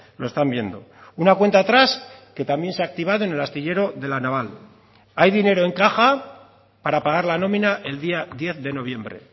lo están viendo una cuenta atrás que también se ha activado en el astillero de la naval hay dinero en caja para pagar la nómina el día diez de noviembre